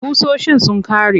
Ƙusoshin sun ƙare.